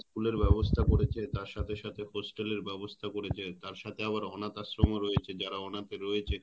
School ব্যবস্থা করেছে তার সাথে সাথে Hostel এর ব্যবস্থা করেছে তার সাথে আবার অনাথ আশ্রম ও রয়েছে যারা অনাথ রয়েছে